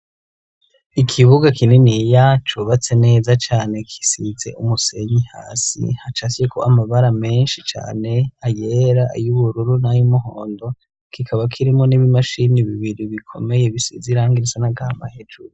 Ikibuga kininiya, cubatse neza cane, gisize umusenyi hasi. Hacapfyeko amabara menshi cane, ayera ay'ubururu n'ay'umuhondo. Kikaba kirimwo n'ib'imashimi bibiri bikomeye bisize irangi risa n'agahama hejuru.